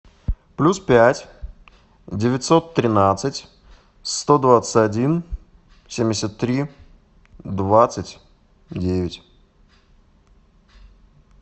плюс пять девятьсот тринадцать сто двадцать один семьдесят три двадцать девять